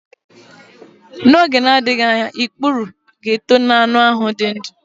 N'oge na-adịghị anya ikpuru ga-eto n'anụ ahụ dị ndụ.